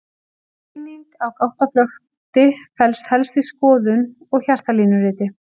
greining á gáttaflökti felst helst í skoðun og hjartalínuriti